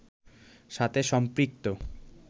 সাথে সম্পৃক্ত